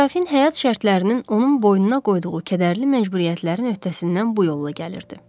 Serafin həyat şərtlərinin onun boynuna qoyduğu kədərli məcburiyyətlərin öhtəsindən bu yolla gəlirdi.